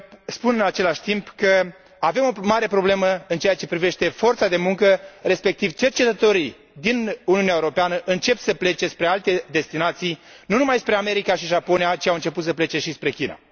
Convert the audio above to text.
Spun, în același timp, că avem o mare problemă în ceea ce privește forța de muncă, respectiv cercetătorii din Uniunea Europeană încep să plece spre alte destinații, nu numai spre America și Japonia, ci au început să plece și spre China.